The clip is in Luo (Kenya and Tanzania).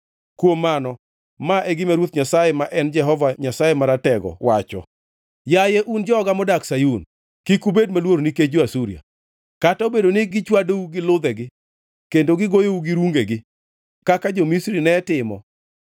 Kuom mano, ma e gima Ruoth Nyasaye ma en Jehova Nyasaye Maratego wacho: “Yaye un joga modak Sayun, kik ubed maluor nikech jo-Asuria, kata obedo ni gichwadou gi ludhegi kendo gigoyou gi rungegi kaka jo-Misri ne timo.